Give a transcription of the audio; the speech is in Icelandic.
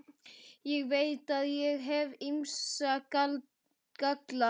Ég veit að ég hef ýmsa galla.